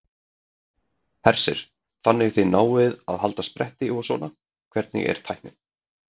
Hersir: Þannig þið náið að halda spretti og svona, hvernig er tæknin?